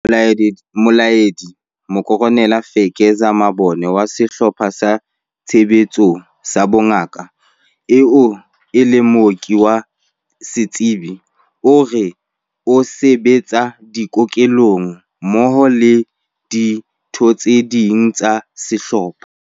Molaedi Mokoronele Fezeka Mabona wa Sehlopha sa Tshebetso sa Bongaka, eo e leng mooki wa setsebi, o re o se betsa dikokelong mmoho le ditho tse ding tsa sehlopha.